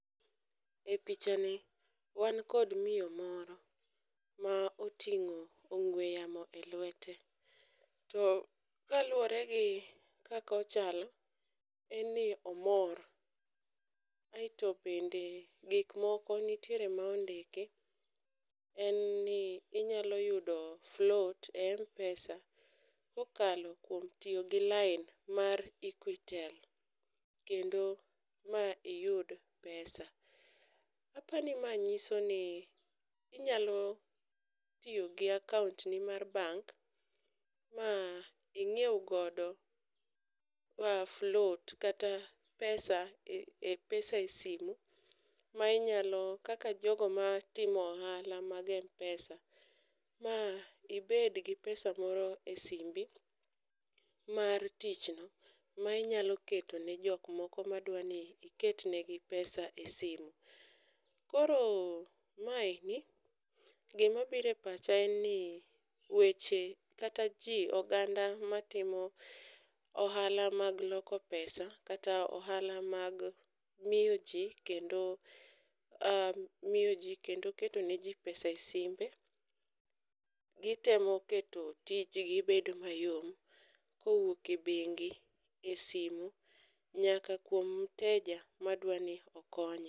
E picha ni wan kod miyo moro ma oting'o ong'ue yamo elwete, to kaluwore gi kaka ochalo en ni omor kaeto bende gik moko nitiere ma ondiki en ni inyalo yudo float e m-pesa kokalo kuom tiyo gi lain mar equitel kendo ma iyud pesa. Aparo ni mae nyiso ni inyalo tiyo gi akaontni mar bank ma ing'iew godo float kata [c s]pesa e m-pesa e simu ma inyalo kaka jogo matimo ohala mag m-pesa ma ibed gi pesa moro e simbi mar tichno ma inyalo keto ne jok moko madwa ni iketnegi pesa e simu. Koro maeni, gima biro e pacha en ni weche kata ji oganda matimo ohala mag loko pesa kaka ohala mag miyo ji miyo ji kendo keto neji pesa e simbe gitemo keto tijgi bedo mayom kowuok e bengi, esimu nyaka kuom muteja madwa ni okonye.